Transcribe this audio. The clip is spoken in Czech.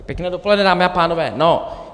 Pěkné dopoledne, dámy a pánové.